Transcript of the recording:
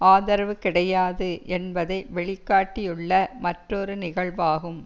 ஆதரவு கிடையாது என்பதை வெளிக்காட்டியுள்ள மற்றொரு நிகழ்வாகும்